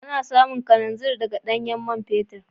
Ana samun kananzir daga ɗanyen man fetur.